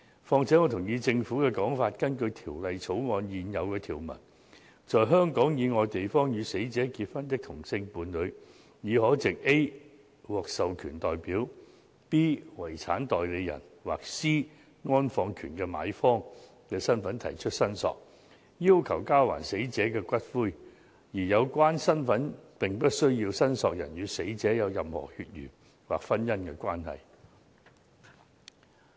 此外，我同意政府的說法，根據《條例草案》現有條文，在香港以外地方與死者結婚的同性伴侶，已可藉 a "獲授權代表"、b "遺產代理人"或 c "安放權的買方"的身份提出申索，要求交還死者的骨灰，而有關身份不需要申索人與死者有任何血緣或婚姻關係。